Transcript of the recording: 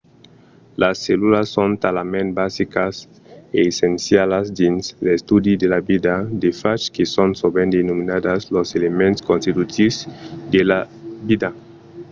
las cellulas son talament basicas e essencialas dins l'estudi de la vida de fach que son sovent denominadas los elements constitutius de la vida